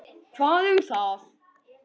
Hvað um það!